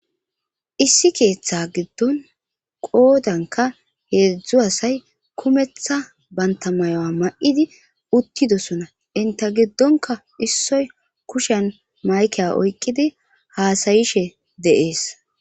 issi keeththa giddon qoodanka heedzdzu asay kumetha banta mayoa ma7idi uttidosona inte giddonka issoy kushen mayke oykqidi haasayishe deees